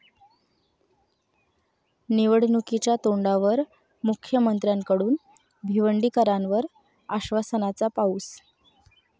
निवडणुकीच्या तोंडावर मुख्यमंत्र्यांकडून भिवंडीकरांवर आश्वासनाचा पाऊस